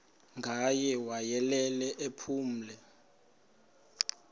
ngaye wayelele ephumle